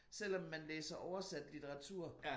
Selvom man læser oversat litteratur